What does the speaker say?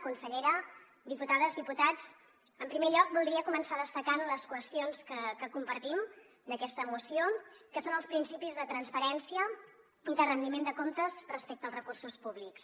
consellera diputades diputats en primer lloc voldria començar destacant les qüestions que compartim d’aquesta moció que són els principis de transparència i de rendiment de comptes respecte als recursos públics